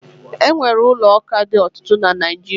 E nwere ụlọ ụka dị ọtụtụ na Naịjirịa